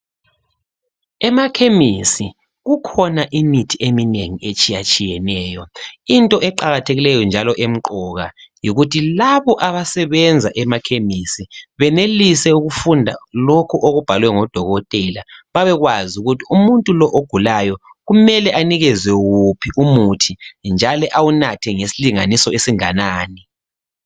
Emakhemisi kukhona imithi eminengi etshiyatshiyeneyo. Into eqakathekileyo njalo emqoka yikuthi labo abasebenza emakhemisi benelise ukufunda lokho okubhalwe ngodokotela, babekwazi ukuthi umuntu lo ogulayo kumele anikezwe wuphi umuthi njalo awunathe ngesilinganiso esinganani.